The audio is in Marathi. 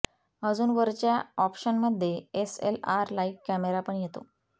अजून वरच्या ऑप्शन मध्ये S L R like camera पण येतो